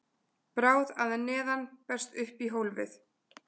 bráð að neðan berst upp í hólfið